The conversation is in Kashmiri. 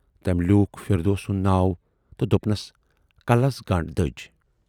تٔمۍ لیوٗکھ فِردوس سُند ناو تہٕ دوپنَس"کلس گَنڈ دٔج۔